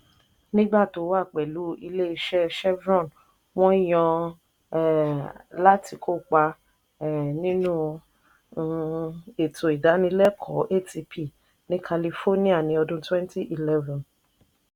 nígbà tó wà pẹ̀lu iléeṣẹ́ chevron wọ́n yàn án um lati kópa um nínú um ètò ìdanilẹ́kọ̀ọ́ (atp) ní california ní ọdún ( twenty eleven ).